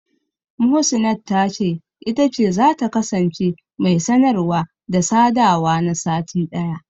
Muhsinat ta ce, ita ce zata kasance mai sanarwa/sadawa na sati ɗaya.